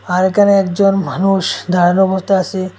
আর এখানে একজন মানুষ দাঁড়ানো অবস্থায় আছে।